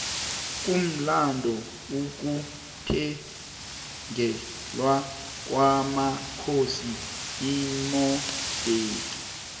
kumlando ukuthengelwa kwomakhosi imodexe